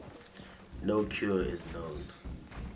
no cure is known